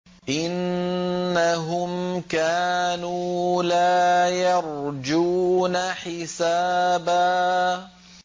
إِنَّهُمْ كَانُوا لَا يَرْجُونَ حِسَابًا